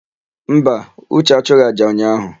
Mba, Uche achụghị àjà ụnyaahụ.